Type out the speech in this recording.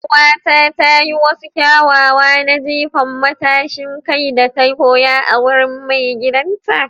Yar'uwata ta yi wasu kyawawa na jifa matashin kai da ta koya a wurin maigidanta.